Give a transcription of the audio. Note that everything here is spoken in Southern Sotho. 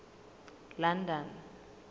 london